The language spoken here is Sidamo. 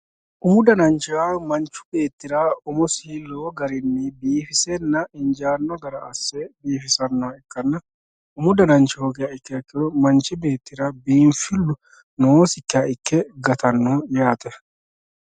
Umu dananchi manchi beettira umosi lowo garinni biifisenna injano gara asse biifisanoha ikkanna umu dananchi hoogiha ikkiha ikkiro manchi beettira biinfilu noosikkiha ikke gatano yaate.